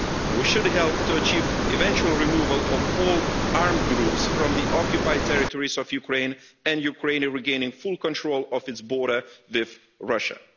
We should help to achieve the eventual removal of all armed groups from the occupied territories of Ukraine, and Ukraine regaining full control of its border with Russia.